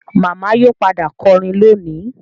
Màmá yóò padà kọrin lónìí